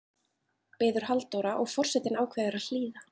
biður Halldóra og forsetinn ákveður að hlýða.